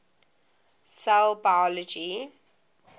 cell biology